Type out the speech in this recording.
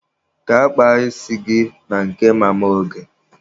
Gaa kpaa isi gị na nke Mama Oge!